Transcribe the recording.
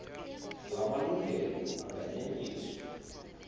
la malungelo anganyenyiswa